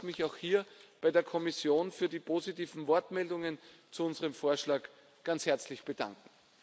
Ich darf mich auch hier bei der Kommission für die positiven Wortmeldungen zu unserem Vorschlag ganz herzlich bedanken.